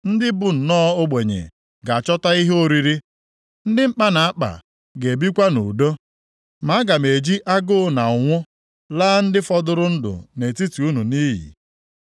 Ndị bụ nnọọ ogbenye ga-achọta ihe oriri, ndị mkpa na-akpa ga-ebikwa nʼudo. Ma aga m eji agụụ na ụnwụ laa ndị fọdụrụ ndụ nʼetiti unu nʼiyi.